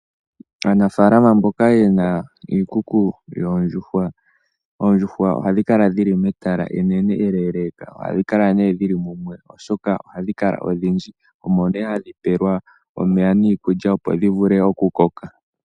Aanafalama mboka yena iikuku yoondjuhwa, oondjuhwa ohadhi kala dhili metala enene eleeleka. Oha dhi kala nee dhili mumwe oshoka ohadhi kala odhindji omo nee hadhi pelwa omeya niikulya opo dhi vule okukoka.